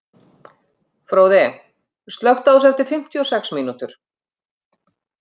Fróði, slökktu á þessu eftir fimmtíu og sex mínútur.